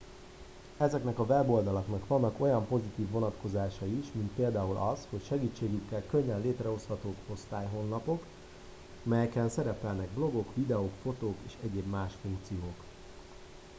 ezeknek a weboldalaknak vannak olyan pozitív vonatkozásai is mint például az hogy segítségükkel könnyen létrehozhatók osztályhonlapok melyeken szerepelnek blogok videók fotók és egyéb más funkciók